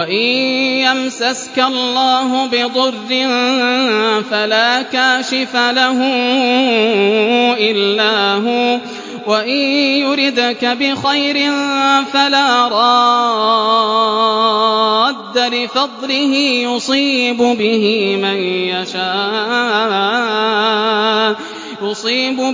وَإِن يَمْسَسْكَ اللَّهُ بِضُرٍّ فَلَا كَاشِفَ لَهُ إِلَّا هُوَ ۖ وَإِن يُرِدْكَ بِخَيْرٍ فَلَا رَادَّ لِفَضْلِهِ ۚ يُصِيبُ